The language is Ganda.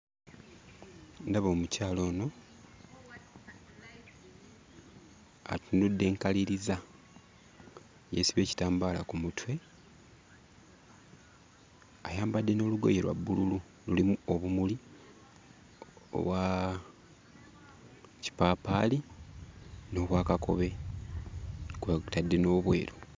Ndaba omukyala ono atunudde nkaliriza. Yeesibye ekitambaala ku mutwe, ayambadde n'olugoye lwa bbululu lulimu obumuli obwa kipaapaali n'obwa kakobe kw'otadde n'obweru.